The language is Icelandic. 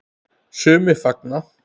Sumir fagna.